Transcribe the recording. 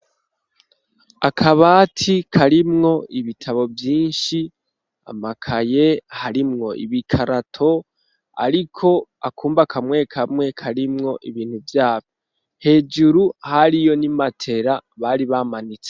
Akabati karimwo ibitabo vyinshi amakaye harimwo ibikarato ariko akumba kamwe kamwe karimwo ibintu byabi hejuru hariyo n'imatera bari bamanitse.